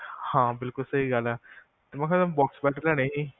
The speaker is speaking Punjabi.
ਹਾਂ, ਸਹੀ ਗੱਲ ਐ, ਅਸੀਂ bed ਬਣਾਨੇ ਸੀ, ਹਾਂ